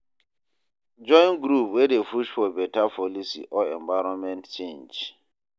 Join group wey dey push for beta policy or environment change